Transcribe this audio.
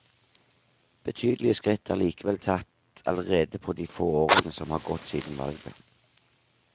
Betydelige skritt er likevel tatt allerede på de få årene som har gått siden valget.